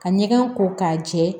Ka ɲɛgɛn ko k'a jɛ